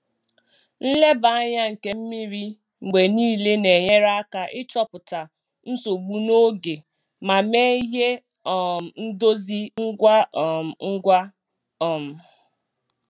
Nleba anya nke mmiri mgbe niile na-enyere aka ịchọpụta nsogbu n'oge ma mee ihe um ndozi ngwa um ngwa. um